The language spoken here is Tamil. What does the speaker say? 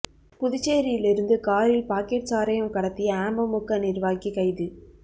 புதுச்சேரியில் இருந்து காரில் பாக்கெட் சாராயம் கடத்திய அமமுக நிர்வாகி கைது